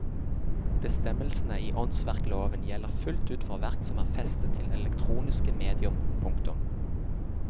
Bestemmelsene i åndsverkloven gjelder fullt ut for verk som er festet til elektroniske medium. punktum